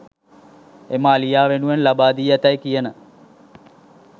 එම අලියා වෙනුවෙන් ලබා දී ඇතැයි කියන